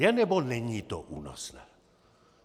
Je, nebo není to únosné?